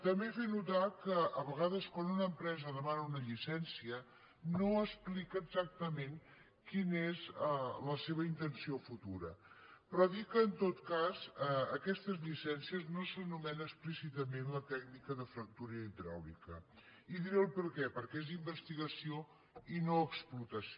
també fer notar que a vegades quan una empresa demana una llicència no explica exactament quina és la seva intenció futura però dir que en tot cas en aquestes llicències no s’anomena explícitament la tècnica de fractura hidràulica i diré el perquè perquè és investigació i no explotació